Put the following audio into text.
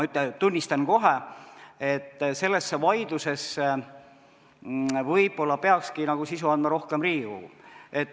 Ma tunnistan kohe, et selles vaidluses võib-olla peakski sisu andma rohkem Riigikogu.